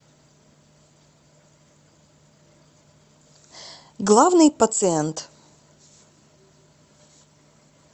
главный пациент